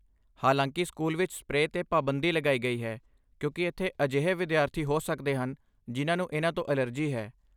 ਹਾਲਾਂਕਿ, ਸਕੂਲ ਵਿੱਚ ਸਪਰੇਅ 'ਤੇ ਪਾਬੰਦੀ ਲਗਾਈ ਗਈ ਹੈ ਕਿਉਂਕਿ ਇੱਥੇ ਅਜਿਹੇ ਵਿਦਿਆਰਥੀ ਹੋ ਸਕਦੇ ਹਨ ਜਿਨ੍ਹਾਂ ਨੂੰ ਇਨ੍ਹਾਂ ਤੋਂ ਐਲਰਜੀ ਹੈ।